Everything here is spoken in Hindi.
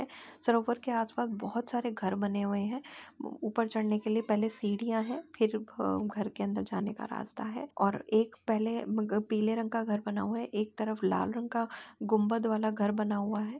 सरोवर के आसपास बहुत सारे घर बने हुए हैं ऊपर चढ़ने के लिए पहले सीढ़ियां हैं फिर घर के अंदर जाने का रास्ता है और एक पहले पीले रंग का घर बना हुआ है एक तरफ लाल रंग का गुंबद वाला घर बना हुआ है।